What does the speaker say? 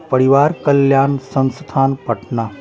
परिवार कल्याण संस्थान पटना--